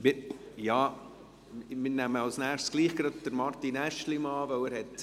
Wir nehmen als Nächstes gerade Martin Aeschlimann an die Reihe.